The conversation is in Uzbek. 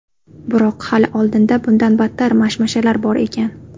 Biroq hali oldinda bundan battar mashmashalar bor ekan.